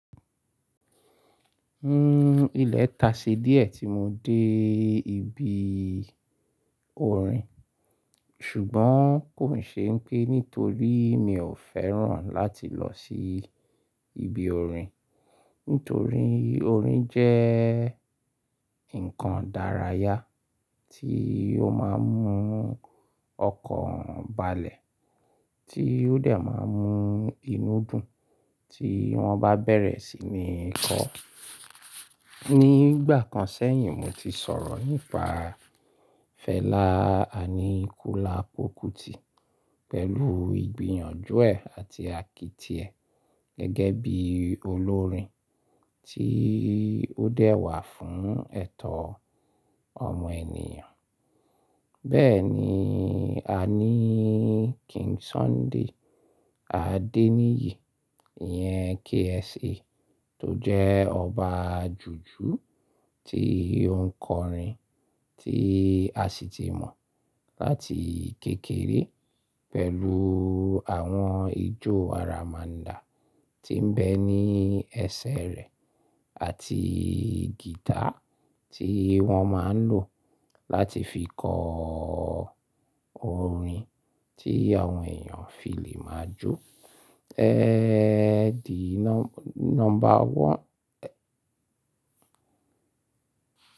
Hmm, ilẹ̀ taṣe díẹ̀ tí mo dé ibi orin, ṣùgbọ́n kò ṣe pé nítorí mi ò fẹ́ràn láti lọ sí ibi orin. Nítorí, orin jẹ́ nǹkan dárayá tí ó máa ń mú ọkàn balẹ̀, tí ó dẹ̀ máa ń mú inú dùn tí wọ́n bá bẹ̀rẹ̀ sí ní kọ. Ní ìgbà kan sẹ́yìn, mo ti sọ̀rọ̀ nípa Fẹlá Aníkúlápó Kútì pẹ̀lú ìgbìyànjú ẹ̀ àti àkìtì ẹ̀ gẹ́gẹ́ bí olórin tí ó dẹ̀ wà fún ẹ̀tọ́ ọmọ ènìyàn. Bẹ́ẹ̀ ni a ní King Sunny Adé níyì, ìyẹn KSA tó jẹ́ ọba jùjú tí ó ń kọrin tí a sì ti mọ̀ láti kékeré pẹ̀lú àwọn ijó aramanda tí ń bẹ ní ẹsẹ̀ rẹ̀ àti gìtá tí wọ́n máa ń lò láti fi kọ orin tí àwọn èèyàn fi lè máa jó. The number one e.